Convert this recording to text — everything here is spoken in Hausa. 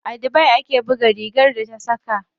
A dubai ake buga rigar da ta saka.